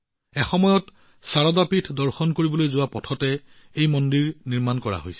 এই মন্দিৰটো শাৰদা পীঠ দৰ্শন কৰিবলৈ যোৱাৰ বাবে ব্যৱহাৰ কৰা একেটা পথতে নিৰ্মাণ কৰা হৈছে